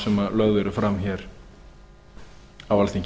sem lögð eru fram hér á alþingi